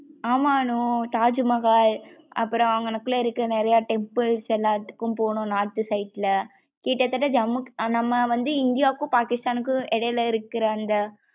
ஆமா அனு தாஜ்மஹால் அப்றம் அகனகுள்ள இருக்க நிறைய temples எல்லாத்துக்கும் போனோம். north side ல கிட்டதட்ட ஜம்மு நம்ம வந்து இந்தியாகும் பாக்கிஸ்தான்கும் இடையில்ல இருக்குற அந்த